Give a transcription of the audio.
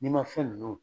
N'i ma fɛn ninnu